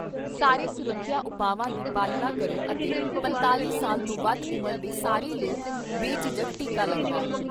ਸਾਰੇ ਸੁਰੱਖਿਆ ਉਪਾਵਾਂ ਦੀ ਪਾਲਣਾ ਕਰੋ ਅਤੇ ਪੰਤਾਲ਼ੀ ਸਾਲ ਤੋਂ ਵੱਧ ਉਮਰ ਦੇ ਸਾਰੇ ਲੋਕ ਬੇਝਿਜਕ ਟੀਕਾ ਲਗਵਾਓ।